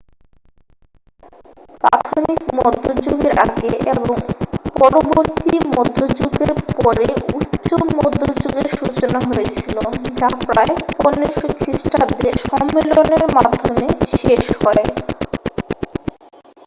প্রাথমিক মধ্যযুগের আগে এবং পরবর্তী মধ্যযুগের পরে উচ্চ মধ্যযুগের সূচনা হয়েছিল যা প্রায় 1500 খ্রিষ্টাব্দে সম্মেলনের মাধ্যমে শেষ হয়